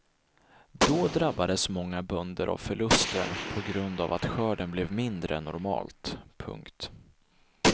Då drabbades många bönder av förluster på grund av att skörden blev mindre än normalt. punkt